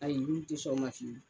Hali nun te sɔn aw na fiyewu.